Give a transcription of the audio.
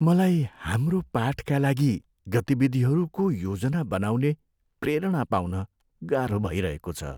मलाई हाम्रो पाठका लागि गतिविधिहरूको योजना बनाउने प्रेरणा पाउन गाह्रो भइरहेको छ।